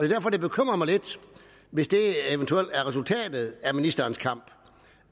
derfor det bekymrer mig lidt hvis det eventuelt er resultatet af ministerens kamp